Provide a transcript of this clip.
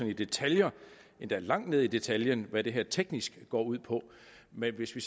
i detaljer endda langt ned i detaljen hvad det her teknisk går ud på men hvis